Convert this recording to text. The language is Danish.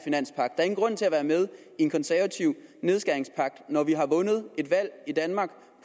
ingen grund til at være med i en konservativ nedskæringspagt når vi har vundet et valg i danmark